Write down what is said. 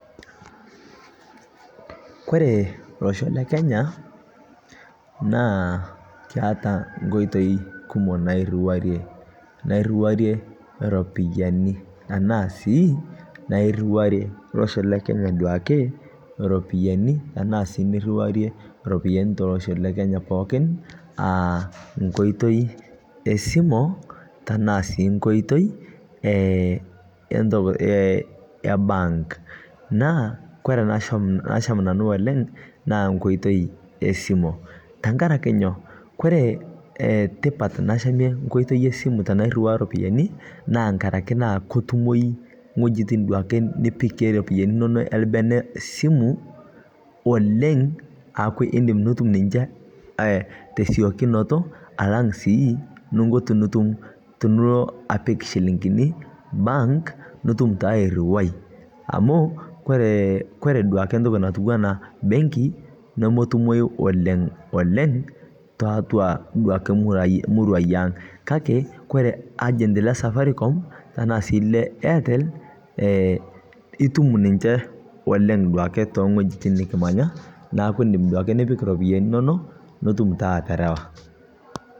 Kore loshoo le kenya naa keata nkoitei kumoo nairuarie, nairuarie ropiyani anaa sii nairuarie losho le kenya duake ropiyani anaa sii niriwarie ropiyani telosho le Kenya pookin a nkoitei esimoo tanaa sii nkoitei e bank naa kore nasham, lasham nanuu oleng' naa nkoitei esimo tankarakee nyo kore tipat nashamie nkoitei esimuu tanairiwaa ropiyani naa ngarake kotumoi ng'ojitin duake nipik ake ropiyani inono elbene simuu oleng' aaku indim atumoo ninshee tesiokunoto alang' sii ninko tinitum tunuloo apik shiling'ini bank nitum taa airiwai amu kore, kore duake ntoki natuwana benkii nomotumoyu oleng'oleng' taatua duake muruai aang' kakee koree urgent le safaricom tanaa sii le airtel e itum ninshe oleng' duake teng'ojitin nikimanya naaku indim duake nipik ropiyani inonoo nitum taa atarawaa.